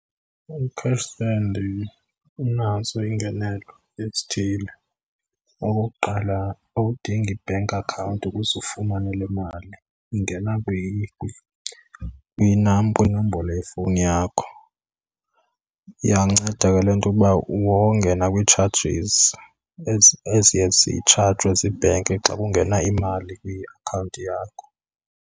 U-cash send unazo iingenelo ezithile. Okokuqala, awudingi bank account ukuze ufumane le mali, ingena kwinombolo yefowuni yakho. Iyanceda ke loo nto ukuba wonge nakwi-charges eziye zitshajwe zii-bank xa kungena imali kwiakhawunti yakho.